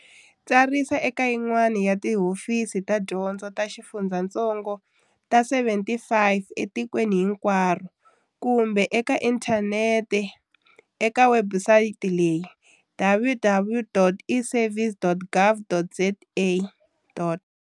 Tsarisa eka yin'we ya tihofisi ta dyondzo ta xifundzatsongo ta 75 etikweni hinkwaro kumbe eka inthanete eka webusayiti leyi- www.eservices.gov.za.